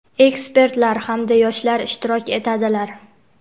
ekspertlar hamda yoshlar ishtirok etadilar.